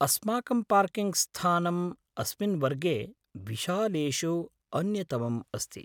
अस्माकं पार्किङ्ग्स्थानम् अस्मिन् वर्गे विशालेषु अन्यतमम् अस्ति।